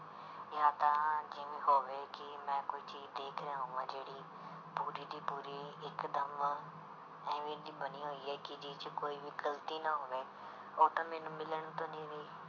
ਜਾਂ ਤਾਂ ਜਿਵੇਂ ਹੋਵੇ ਕਿ ਮੈਂ ਕੋਈ ਚੀਜ਼ ਦੇਖ ਰਿਹਾ ਹੋਵਾਂ ਜਿਹੜੀ ਪੂਰੀ ਦੀ ਪੂਰੀ ਇੱਕਦਮ ਇਵੇਂ ਦੀ ਬਣੀ ਹੋਈ ਹੈ ਕਿ ਜਿਹ 'ਚ ਕੋਈ ਵੀ ਗ਼ਲਤੀ ਨਾ ਹੋਵੇ, ਉਹ ਤਾਂ ਮੈਨੂੰ ਮਿਲਣ ਤੋਂ